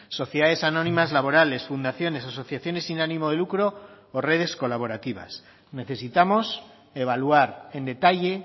sociedades anónimas laborales fundaciones asociaciones sin ánimo de lucro o redes colaborativas necesitamos evaluar en detalle